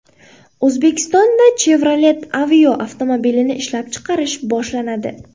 O‘zbekistonda Chevrolet Aveo avtomobilini ishlab chiqarish boshlanadi.